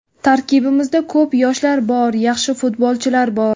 Tarkibimizda ko‘p yoshlar bor, yaxshi futbolchilar bor.